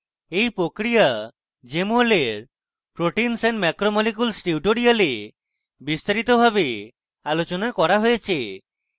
এই প্রক্রিয়া jmol এর proteins and macromolecules tutorial বিস্তারিতভাবে আলোচনা করা হয়েছে